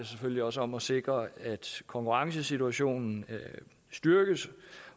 selvfølgelig også om at sikre at konkurrencesituationen styrkes